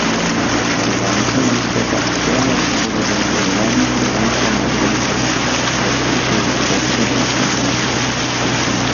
Varovanci Iztoka Kšele se bodo v nadaljevanju prvenstva merili za razvrstitev od petega do osmega mesta.